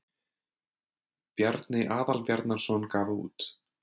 Bjarni Aðalbjarnarson gaf út.